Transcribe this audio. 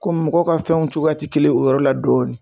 Komi mɔgɔ ka fɛnw cogoya tɛ kelen o yɔrɔ la dɔɔnin.